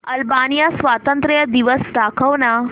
Albania स्वातंत्र्य दिवस दाखव ना